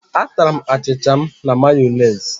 A tara'm achịcha m na Mayonezi